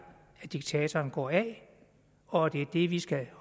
at diktatoren går af og at det er det vi skal